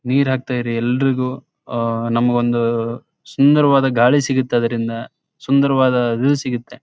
ನೀರಾಕ್ತಾ ಇರಿ ಎಲ್ರಿಗೂ ನಮಗೊಂದು ಸುಂದರವಾದ ಗಾಳಿ ಸಿಗುತ್ತೆ ಅದರಿಂದ ಸುಂದರವಾದ ವ್ಯೂ ಸಿಗುತ್ತೆ.